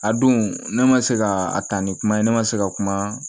A don ne ma se ka a ta ni kuma ye ne ma se ka kuma